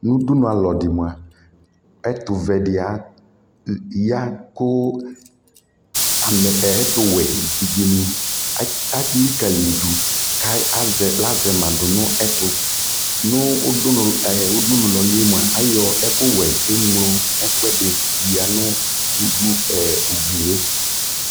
nʋ ʋdʋnʋ alɔ di mʋa, ɛtʋvɛ di ya kʋ ɛtʋ wɛ ɛvidzɛ ni alikalii dʋ kʋ azɛ ma dʋnʋ ɛtʋ nʋ ʋdʋnʋ ()ayɔ ɛkʋ wɛ kʋ ɛmlɔ ɛkʋɛdi yanʋ ʋgliɛ